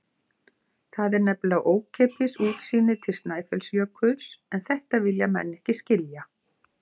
Það er nefnilega ókeypis útsýnið til Snæfellsjökuls en þetta vilja menn ekki skilja.